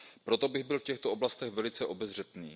Proto bych byl v těchto oblastech velice obezřetný.